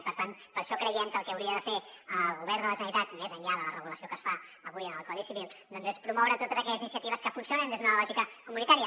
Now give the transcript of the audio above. i per tant per això creiem que el que hauria de fer el govern de la generalitat més enllà de la regulació que es fa avui en el codi civil doncs és promoure totes aquelles iniciatives que funcionen des d’una lògica comunitària